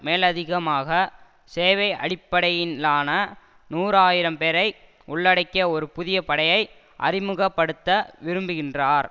மேலதிகமாக சேவை அடிப்படையிலான நூறு ஆயிரம் பேரை உள்ளடக்கிய ஒரு புதிய படையை அறிமுக படுத்த விரும்புகின்றார்